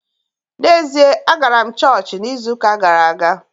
N’ezie, agara m chọọchị n’izu ụka gara aga